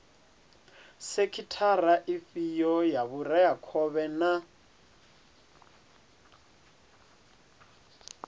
sekhithara ifhio ya vhureakhovhe na